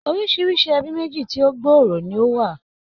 Orisirisi ẹbí méjì tí ó gbòòrò ni ó wà.